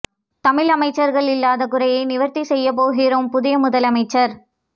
தமிழ் அமைச்சர்கள் இல்லாத குறையை நிவர்த்தி செய்ய போகிறாராம் புதிய முதலமைச்சர்